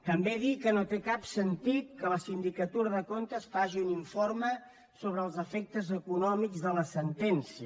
també dir que no té cap sentit que la sindicatura de comptes faci un informe sobre els efectes econòmics de la sentència